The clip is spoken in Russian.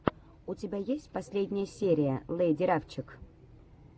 у тебя есть последняя серия лэйди рафчик